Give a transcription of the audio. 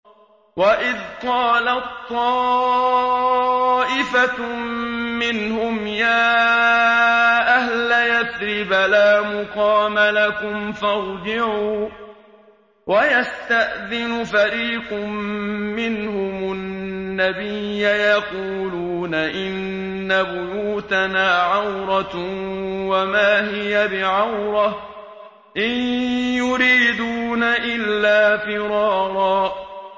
وَإِذْ قَالَت طَّائِفَةٌ مِّنْهُمْ يَا أَهْلَ يَثْرِبَ لَا مُقَامَ لَكُمْ فَارْجِعُوا ۚ وَيَسْتَأْذِنُ فَرِيقٌ مِّنْهُمُ النَّبِيَّ يَقُولُونَ إِنَّ بُيُوتَنَا عَوْرَةٌ وَمَا هِيَ بِعَوْرَةٍ ۖ إِن يُرِيدُونَ إِلَّا فِرَارًا